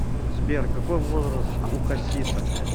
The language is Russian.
сбер какой возраст у хасиса